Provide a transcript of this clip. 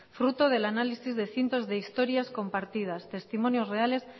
fruto del análisis de cientos de historias compartidas testimonios reales